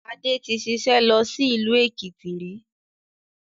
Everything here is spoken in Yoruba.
Adé tí ṣiṣẹ́ lọ sí ìlú Èkìtì rí